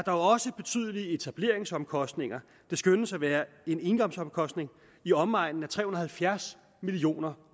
også betydelige etableringsomkostninger der skønnes at være en engangsomkostning i omegnen af tre hundrede og halvfjerds million